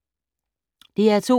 DR2